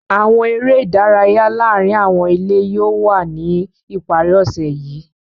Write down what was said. Awọn ere idaraya laarin awọn ile yóò wa ni ipari ose yii.